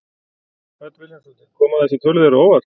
Hödd Vilhjálmsdóttir: Koma þessar tölur þér á óvart?